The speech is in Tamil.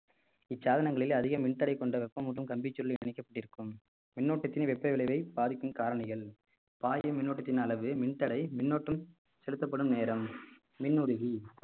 இச்சாதனங்களில் அதிக மின் தடை கொண்ட வெப்பம் மற்றும் கம்பிச்சொல்லி இணைக்கப்பட்டிருக்கும் விண் ஓட்டத்தின் வெப்ப விளைவை பாதிக்கும் காரணிகள் பாயும் மின்னோட்டத்தின் அளவு மின்தடை மின்னோட்டம் செலுத்தப்படும் நேரம் மின் உருகி